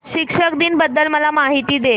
शिक्षक दिन बद्दल मला माहिती दे